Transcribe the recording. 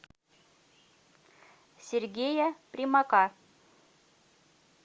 сергея примака